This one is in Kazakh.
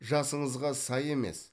жасыңызға сай емес